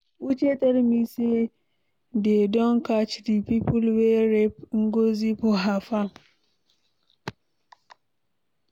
Uche tell me say dey don catch the people wey rape Ngozi for her farm.